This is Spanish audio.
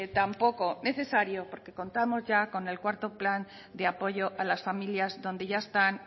tampoco necesario porque contamos ya con el cuarto plan de apoyo a las familias donde ya están